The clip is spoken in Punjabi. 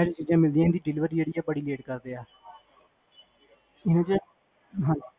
ਇਹ ਚੀਜਾਂ ਮੰਗਵਾ ਸਕਦੇ delivery ਆ ਬੜੀ late ਕਰਦੇ ਹੈ